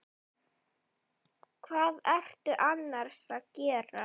Hvað ertu annars að gera?